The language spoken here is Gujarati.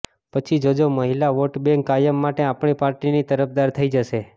પછી જોજો મહિલા વોટબેન્ક કાયમ માટે આપણી પાર્ટીની તરફદાર થઇ જશે